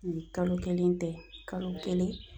Nin kalo kelen tɛ kalo kelen